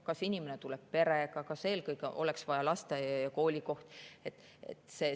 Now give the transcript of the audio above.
Kas inimene tuleb perega, kas eelkõige oleks vaja lasteaia‑ ja koolikohta?